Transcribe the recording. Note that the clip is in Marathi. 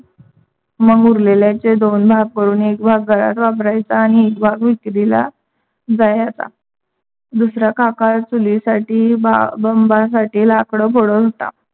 मग उरलेल्याचे दोन भाग करून एक भाग घरात वापरायचा, न एक भाग विक्रीला जायाचा. दूसरा काका चुली साथी बंबा साथी लाकड फोडत होता.